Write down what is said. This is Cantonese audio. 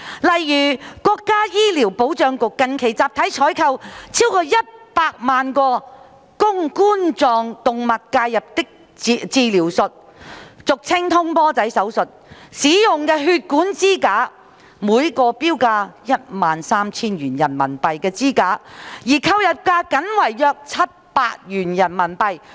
例如，國家醫療保障局近期集體採購逾一百萬個供冠狀動脈介入治療術使用的血管支架，每個標價 13,000 元人民幣的支架的購入價僅為約700元人民幣。